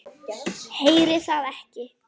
Heyri það ekki.